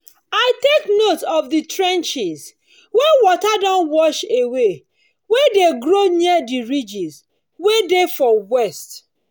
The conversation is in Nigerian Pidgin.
i take note of the trenches wey water don wash away wey dey grow near the ridge wey dey for west